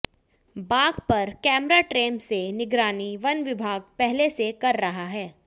बाघ पर कैमराट्रेम से निगरानी वनविभाग पहले से कर रहा है